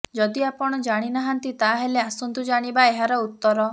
ଯଦି ଆପଣ ଜାଣିନାହାନ୍ତି ତାହେଲେ ଆସନ୍ତୁ ଜାଣିବା ଏହାର ଉତ୍ତର